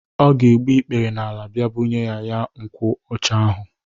Ọ ga egbu ikpere n'ala bịa bunye ya nkwụ ọcha ahu.